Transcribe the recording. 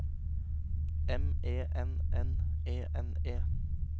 M E N N E N E